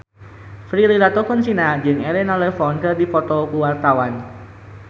Prilly Latuconsina jeung Elena Levon keur dipoto ku wartawan